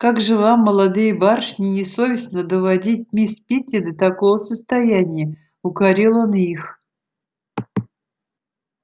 как же вам молодые барышни не совестно доводить мисс питти до такого состояния укорил он их